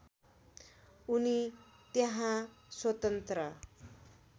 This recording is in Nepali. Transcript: उनी त्यहाँ स्वतन्त्र